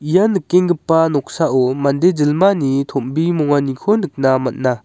ia nikengipa noksao mande jilmani tombimonganiko nikna man·a.